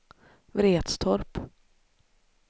Vretstorp